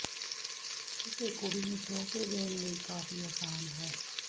ਕਿਸੇ ਕੁੜੀ ਨੂੰ ਤੋਹਫ਼ੇ ਦੇਣ ਲਈ ਕਾਫ਼ੀ ਆਸਾਨ ਹੈ